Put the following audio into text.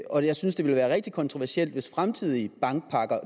og jeg synes det ville være rigtig kontroversielt hvis fremtidige bankpakker